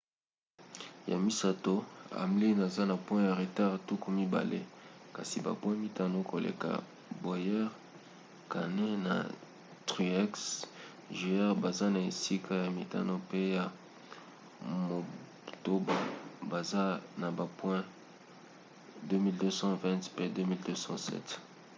ya misato hamlin aza na point ya retard tuku mibale kasi bapoint mitano koleka bowyer. kahne na truex jr. baza na esika ya mitano pe ya motoba baza na ba point 2 220 pe 2 207